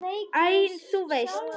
Æ, þú veist.